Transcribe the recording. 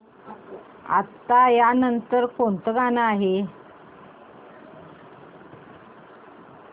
आता या नंतर कोणतं गाणं आहे